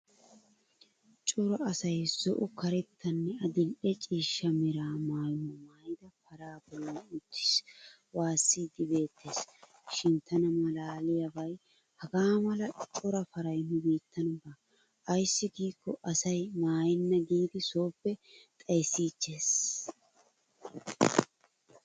Cora asay zo"o karettanne adil"e ciishsha mera maayuwaa maayida paraa bollan uttiis waassiiddi beettees. Shin tana malaaliyaabay hagaa mala cora paray nu biitan baa, ayssi giikko asay maayenna giidi sooppe xayissiichchees.